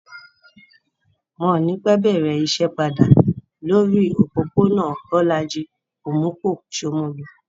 Wọn ò ní pẹ́ bẹ̀rẹ̀ iṣẹ́ padà lórí òpópó-ònà Bólájí Omupo, Shomolu